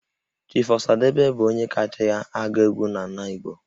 Chief Osadebe bụ onye kacha agụ egwu n'ala Igbo